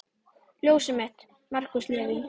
Ljósið þitt, Markús Leví.